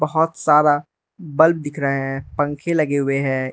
बहोत सारा बल्ब दिख रहे हैं पंखे लगे हुए हैं।